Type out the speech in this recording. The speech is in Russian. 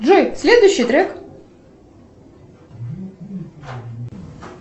джой следующий трек